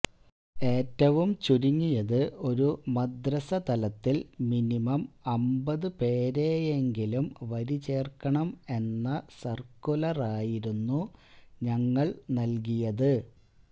ഏറ്റവും ചുരുങ്ങിയത് ഒരു മദ്രസ തലത്തിൽ മിനിമം അമ്പത് പേരെയെങ്കിലും വരിചേർക്കണം എന്ന സർക്കുലറായിരുന്നു ഞങ്ങൽ നൽകിയത്